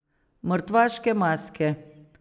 Mrtvaške maske.